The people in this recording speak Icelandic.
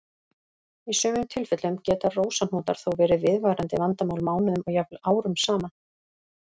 Í sumum tilfellum geta rósahnútar þó verið viðvarandi vandamál mánuðum og jafnvel árum saman.